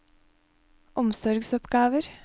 omsorgsoppgaver